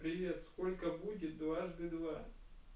привет сколько будет дважды два